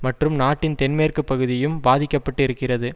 மற்றும் நாட்டின் தென்மேற்கு பகுதியும் பாதிக்க பட்டு இருக்கிறது